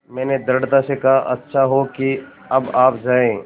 मैंने दृढ़ता से कहा अच्छा हो कि अब आप जाएँ